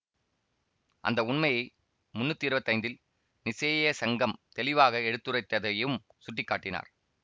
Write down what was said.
அந்த உண்மையை முன்னூத்தி இருவத்தி ஐந்தில் நிசேயா சங்கம் தெளிவாக எடுத்துரைத்ததையும் சுட்டி காட்டினார்